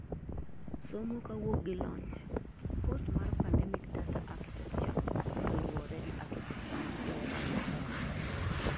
somo kawok gi lony:Post mar pandemic data architecture kaluwore gi architecture ma Sierra Leone